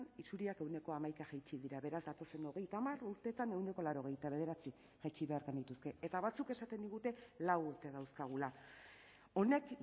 isuriak ehuneko hamaika jaitsi dira beraz datozen hogeita hamar urteetan ehuneko laurogeita bederatzi jaitsi behar genituzke eta batzuk esaten digute lau urte dauzkagula honek